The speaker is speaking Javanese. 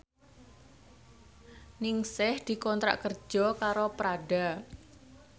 Ningsih dikontrak kerja karo Prada